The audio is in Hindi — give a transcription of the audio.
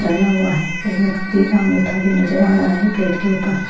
डाला हुआ है एक व्यक्ति का अंगूठा भी नजर आ रहा है प्लेट के ऊपर।